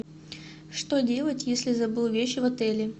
что делать если забыл вещи в отеле